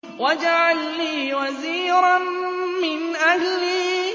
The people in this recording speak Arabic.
وَاجْعَل لِّي وَزِيرًا مِّنْ أَهْلِي